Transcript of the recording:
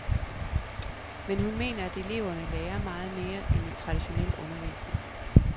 Men hun mener at eleverne lærer meget mere end i traditionel undervisning.